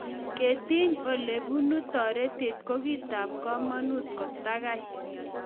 Ketiny ole bunu toretet ko kitab kamanut kotagai.